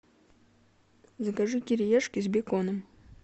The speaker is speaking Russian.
закажи кириешки с беконом